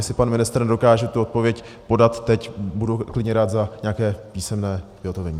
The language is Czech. Jestli pan ministr nedokáže tu odpověď podat teď, budu klidně rád za nějaké písemné vyhotovení.